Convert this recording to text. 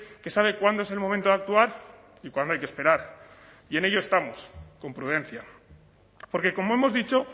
que sabe cuándo es el momento de actuar y cuándo hay que esperar y en ello estamos con prudencia porque como hemos dicho